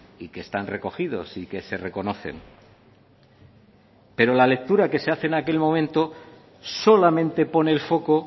y que están recogidos y que se reconocen pero la lectura que se hace en aquel momento solamente pone el foco